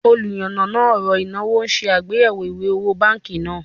Oluyanana oro inawo n se agbeyewo iwe owo banki naa